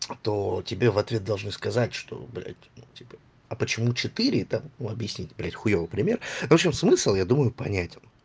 то тебе в ответ должны сказать что блядь типа а почему четыре там у объяснить блядь хуёвый пример в общем смысл я думаю понятен